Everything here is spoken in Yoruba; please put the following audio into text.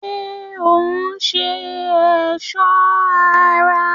ṣé òún ṣe ẹ̀sọ́ ara?